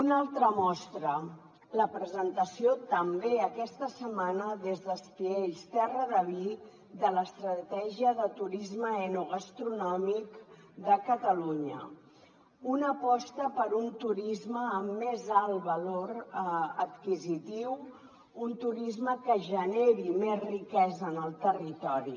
una altra mostra la presentació també aquesta setmana des d’espiells terra de vi de l’estratègia de turisme enogastronòmic de catalunya una aposta per un turisme amb més alt valor adquisitiu un turisme que generi més riquesa en el territori